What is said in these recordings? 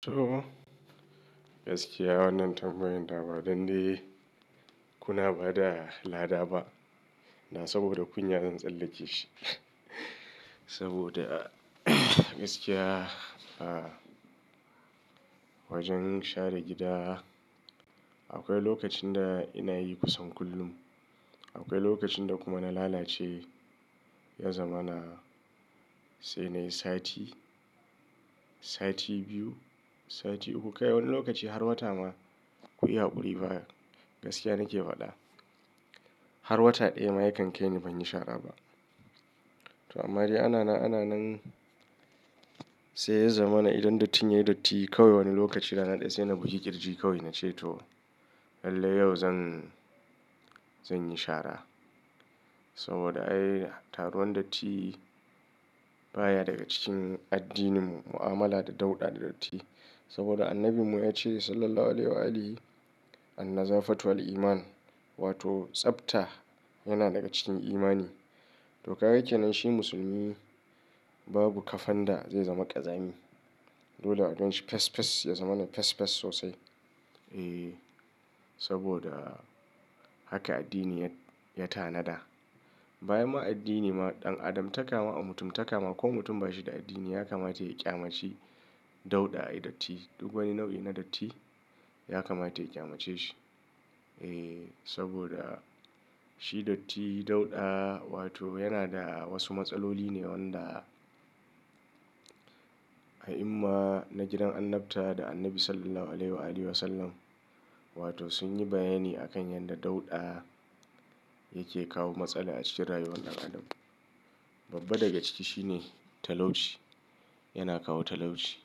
To gaskiya wannan tambayon da ba dande kuna bada lada ba. Da saboda kunya zan tsallake shi. Saboda gaskiya a wajen share gida akwai lokacin da ina yi kusan kullum. Akwai lokacin da kuma na lalace, ya zama na sai na yi sati, sati biyu, sati uku. Kai wani lokaci har wata ma kuyi hakuri fa. Gaskiya nake faɗa har wata ɗaya ma yakan kai ni banyi shara ba. To amma dai ana na, ana nan sai ya zama na idan dattin yayi datti kawai wani lokaci rana ɗaya sai na buki kirji kawai na ce to lallai yau zan, zan yi shara. Saboda ai taruwan datti baya daga cikin addininmu. Mu'amala da dauɗa da datti. Saboda annabimu ya ce Sallallahu alaihi wasallam "an-nazafatu al-iman" wato tsafta yana daga cikin imani. To ka ga kenan shi musulmi babu kafan da zai zama ƙazami. Dole a don shi fes fes, ya zama na fes fes sosai. Eeh, saboda haka addini ya ta nada. Bayan ma addini ma ɗan adam ta kama, mutum ta kama ko mutum ba shi da addini ya kamata ya ƙyamace dauɗa ai datti. Duk wani nau'i na datti ya kamata ya ƙyamace shi. Eeh, saboda shi datti dauɗa wato yana da wasu matsaloli ne wanda a'imma na gidan annabta da annabi Sallallahu alaihi wasallam wato sun yi bayani a kan yanda dauɗa yake kawo matsala a cikin rayuwar ɗan adam. Babba daga ciki shine talauci, yana kawo talauci.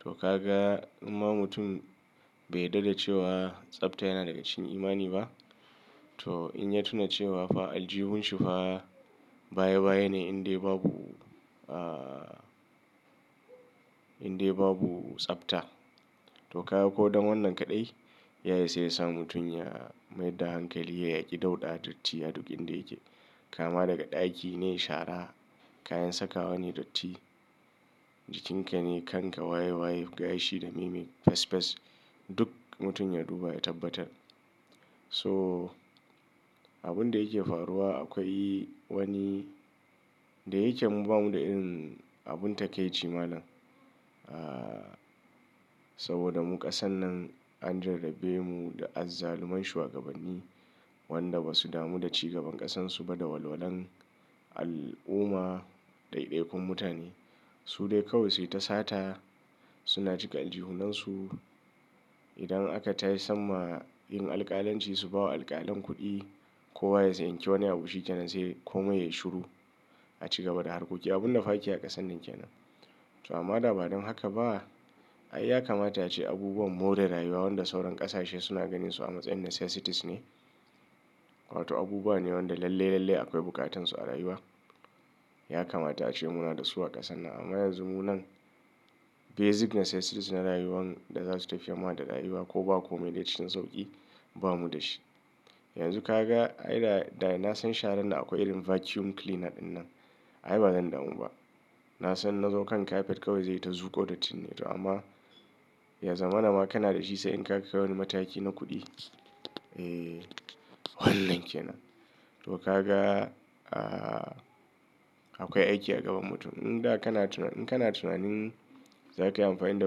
To ka ga in ma mutum bai yarda da cewa tsafta yana daga cikin imani ba, to in ya tuna cewa fa aljihun shi fa baya baya ne indai babu aah indai babu tsafta. To kawo ko don wannan kaɗai ya iya sai ya sa mutun ya mai da hankali ya yaƙi dauɗa datti a duk inda yake. Kama daga ɗaki ne shara, kayan sakawa ne datti, jikinka ne kanka waye waye, gashi da mimi fes fes. Duk mutum ya duba ya tabbatar. So abun da yake faruwa akwai wani da yake ba mu da ilimin abun takaici malam. Aah saboda mu ƙasan nan an jarrabe mu da azzaluman shuwagabanni wanda ba su damu da ci gaban ƙasarsu ba da walwalan al'umma da ɗaiɗai kun mutane. Su dai kawai sai ta sata suna cika aljihunansu. Idan aka tashi samma yin alƙalanci su bawa alƙalan kuɗi ko waye sai ya yi kyau wani abun shi kenan sai komai yayi shiru a ci gaba da harkoki. Abun da fa ake a kasar nan kenan. To amma da bari haka ba ai ya kamata ace abubuwan more rayuwa wanda sauran ƙasashe suna ganin su a matsayin necessities ne wato abubuwa ne wanda lalle a kwai bukatun su a rayuwa. Ya kamata ace muna da su a ƙasan nan. Amma yanzu munan basic necessities na rayuwa da za su tafiya mu daga rayuwa ko ba komai ne cikin sauƙi ba mu da shi. Yanzu ka ga ai da da na san sharan da akwai irin vacuum cleaner ɗinnan ai ba zan damu ba. Na san na zo kan carpet kawai zai yi ta zuƙo dattinne to amma ya zama na ma kana da shi sai in ka kai wani mataki na kuɗi. Eeh wannan kenan. To ka ga aah akwai aiki a gaban mutum. In da kana tuna, in kana tunanin za ka yi amfani da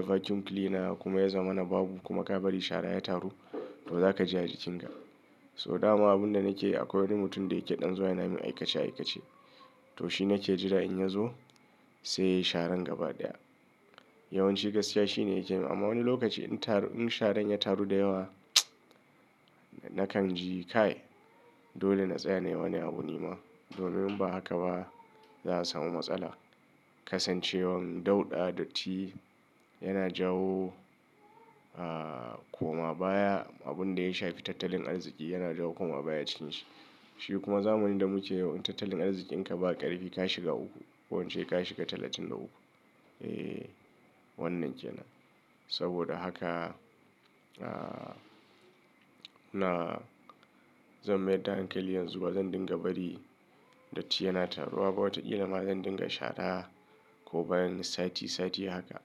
vacuum cleaner kuma ya zama na babu kuma ka bari shara ya taru to za ka ji a jikinka. So dama abun da nake yi akwai wani mutum da yake ɗan zuwa yana min aikace aikace to shi nake jira in ya zo sai ya yi sharan gaba ɗaya. Yawanci gaskiya shi ne yake yi amma wani lokaci in taru, in sharan ya taru da yawa nakan ji kai dole na tsaya ne wani abu nima. Domin in ba haka ba za'a samu matsala. Kasancewar dauɗa datti yana jawo aah koma baya abun da ya shafi tattalin arziƙi yana jawo koma baya cikin shi. Shi kuma zamani da muke yau tattalin arziƙin ka ba ƙarfi ka shiga uku, ko ince shiga talatin da uku. Eeh wannan kenan. Saboda haka aah nuna zan mayar da hankali yanzu ba zan dinga bari datti yana taruwa ba wataƙila ma zan dinga shara ko bayan sati sati haka.